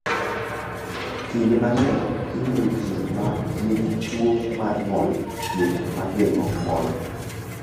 Kinde mang’eny, imiyo ji ma nigi tuwo mar ng’ol thieth ma geng’o ng’ol.